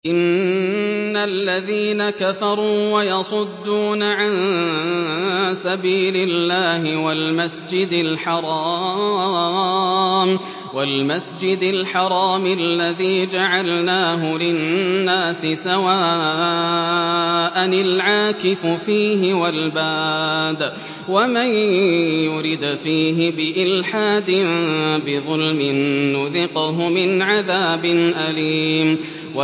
إِنَّ الَّذِينَ كَفَرُوا وَيَصُدُّونَ عَن سَبِيلِ اللَّهِ وَالْمَسْجِدِ الْحَرَامِ الَّذِي جَعَلْنَاهُ لِلنَّاسِ سَوَاءً الْعَاكِفُ فِيهِ وَالْبَادِ ۚ وَمَن يُرِدْ فِيهِ بِإِلْحَادٍ بِظُلْمٍ نُّذِقْهُ مِنْ عَذَابٍ أَلِيمٍ